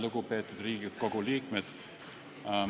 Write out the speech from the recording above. Lugupeetud Riigikogu liikmed!